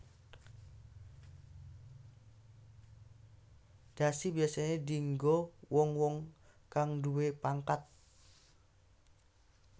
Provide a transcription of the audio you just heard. Dhasi biyasané dienggo wong wong kang nduwé pangkat